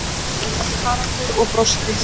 Haraldur og brosti.